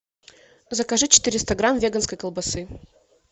закажи четыреста грамм веганской колбасы